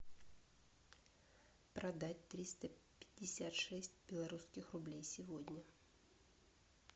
продать триста пятьдесят шесть белорусских рублей сегодня